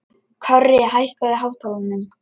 Korri, hækkaðu í hátalaranum.